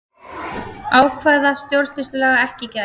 Ákvæða stjórnsýslulaga ekki gætt